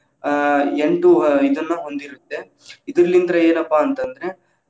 ಆ ಎಂಟು ಇದನ್ನ ಹೊಂದಿರುತ್ತೆ. ಇದರ್ಲಿಂದ ಏನಪ್ಪಾ ಅಂತಂದ್ರೆ.